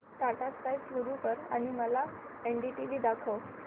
Tata sky सुरू कर आणि मला एनडीटीव्ही दाखव